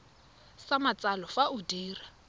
sa matsalo fa o dira